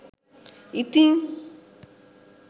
ඉතිං?